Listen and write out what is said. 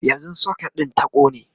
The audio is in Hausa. yanzun socket din ta ƙone